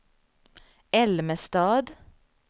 Älmestad